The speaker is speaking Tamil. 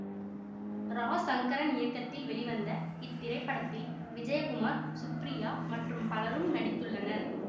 ரா சங்கரன் இயக்கத்தில் வெளிவந்த இத்திரைப்படத்தில் விஜயகுமார் ஸ்ரீபிரியா மற்றும் பலரும் நடித்துள்ளனர்